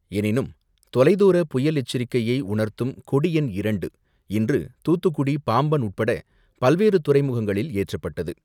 எனினும் தொலைத்தூர புயல் எச்சரிக்கையை உணர்த்தும் கொடி எண் இரண்டு, இன்று தூத்துக்குடி, பாம்பன் உட்பட பல்வேறு துறைமுகங்களில் ஏற்றப்பட்டது.